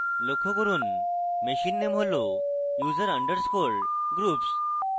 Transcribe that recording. লক্ষ্য করুন machine name হল user underscore groups